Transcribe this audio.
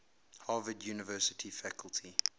harvard university faculty